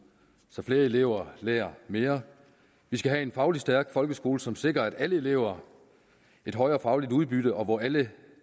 så flere elever lærer mere vi skal have en fagligt stærk folkeskole som sikrer alle elever et højere fagligt udbytte og hvor alle